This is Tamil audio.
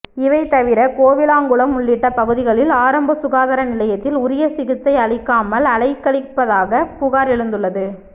இவைதவிர கோவிலாங்குளம் உள்ளிட்ட பகுதிகளில் ஆரம்ப சுகாதார நிலையத்தில் உரிய சிகிச்சை அளிக்காமல் அலைக்கழிப்பதாக புகார் எழுந்துள்ளது